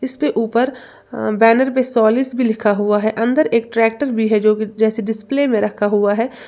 इसपे ऊपर बैनर पे सोलिस भी लिखा हुआ है अंदर एक ट्रैक्टर भी है जो कि जैसे डिसप्ले में रखा हुआ है।